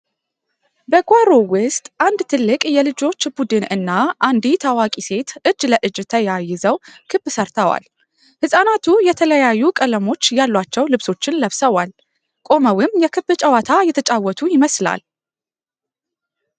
በጓሮው ውስጥ አንድ ትልቅ የልጆች ቡድን እና አንዲት አዋቂ ሴት እጅ ለእጅ ተያይዘው ክብ ሰርተዋል። ህጻናቱ የተለያዩ ቀለሞች ያሏቸው ልብሶችን ለብሰዋል፤ ቆመውም የክብ ጨዋታ እየተጫወቱ ይመስላል።